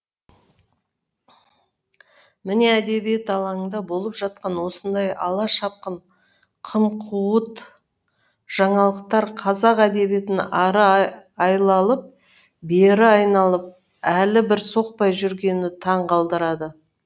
міне әдебиет алаңында болып жатқан осындай ала шапқын қым қуыт жаңалықтар қазақ әдебиетін ары айлалып бері айналып әлі бір соқпай жүргені таң қалдырады